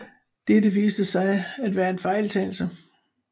Dette viste sig at være en fejltagelse